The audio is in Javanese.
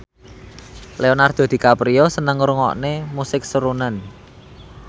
Leonardo DiCaprio seneng ngrungokne musik srunen